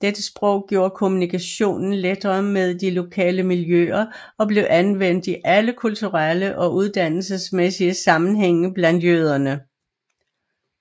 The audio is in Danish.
Dette sprog gjorde kommunikationen lettere med de lokale miljøer og blev anvendt i alle kulturelle og uddannelsesmæssige sammenhænge blandt jøderne